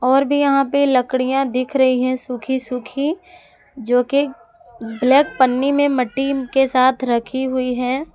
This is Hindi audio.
और भी यहां पे लकड़ियां दिख रही हैं सुखी सुखी जो कि ब्लैक पनी में मट्टी के साथ रखी हुई है।